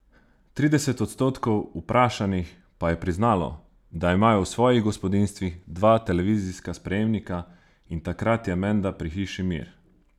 Trideset odstotkov vprašanih pa je priznalo, da imajo v svojih gospodinjstvih dva televizijska sprejemnika in takrat je menda pri hiši mir.